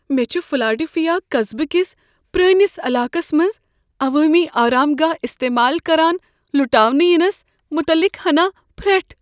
مے٘ چھ فلاڈیلفیا قصبہٕ کس پرٲنس علاقس منٛز عوٲمی آرام گاہ استعمال کران لُٹاونہٕ ینس متعلق ہنا پھرٹھ۔